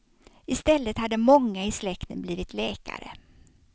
I stället hade många i släkten blivit läkare.